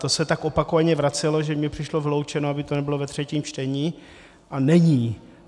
To se tak opakovaně vracelo, že mně přišlo vyloučeno, aby to nebylo ve třetím čtení, a není.